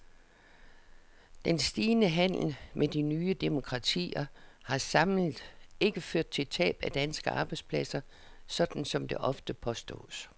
Den stigende handel med de nye demokratier har samlet ikke ført til tab af danske arbejdspladser, sådan som det ofte påstås.